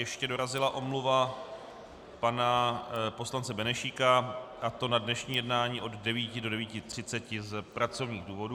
Ještě dorazila omluva pana poslance Benešíka, a to na dnešní jednání od 9 do 9.30 z pracovních důvodů.